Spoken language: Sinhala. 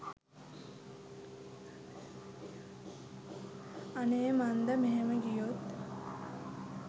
අනේ මන්ද මෙහෙම ගියොත්